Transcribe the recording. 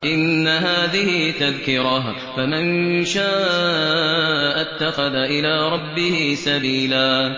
إِنَّ هَٰذِهِ تَذْكِرَةٌ ۖ فَمَن شَاءَ اتَّخَذَ إِلَىٰ رَبِّهِ سَبِيلًا